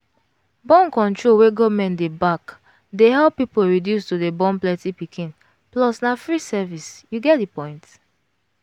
born-control wey government dey back dey help people reduce to dey born plenty pikinplus na free service you get the point.